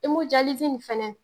nin fɛnɛ